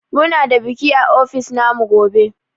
Muna da biki a ofis na mu gobe.